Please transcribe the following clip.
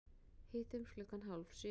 Hittumst klukkan hálf sjö.